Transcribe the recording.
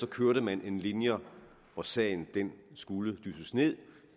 kørte man en linje hvor sagen skulle dysses ned